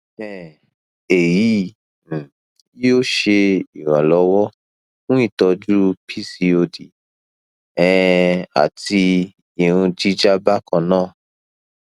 um eyi um yoo ṣe iranlọwọ fun itọju pcod um ati irun jija bakanna